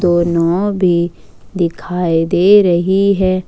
दो नाव भी दिखाई दे रही है।